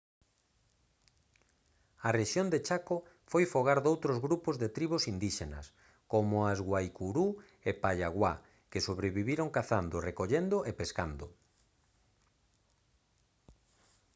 a rexión de chaco foi fogar doutros grupos de tribos indíxenas como as guaycurú e payaguá que sobreviviron cazando recollendo e pescando